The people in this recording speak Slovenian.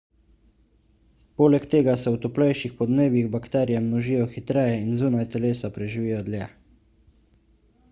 poleg tega se v toplejših podnebjih bakterije množijo hitreje in zunaj telesa preživijo dlje